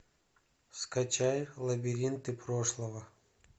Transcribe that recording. скачай лабиринты прошлого